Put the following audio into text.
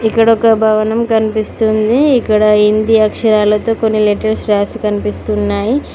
ఇక్కడ ఒక భవనం కనిపిస్తుంది ఇక్కడ హిందీ అక్షరాలతో కొన్ని లెటర్స్ రాసి కనిపిస్తున్నాయి